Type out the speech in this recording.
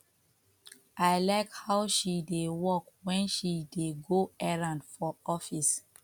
i like how she dey walk wen she dey go errand for office